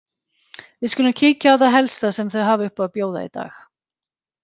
Við skulum kíkja á það helsta sem þau hafa upp á að bjóða í dag.